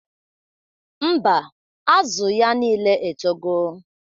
Mba, Azụ ya nile etogo